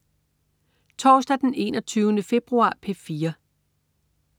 Torsdag den 21. februar - P4: